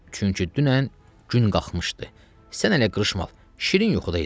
Çünki dünən gün qalxmışdı, sən hələ qırışmalı, şirin yuxudaydın.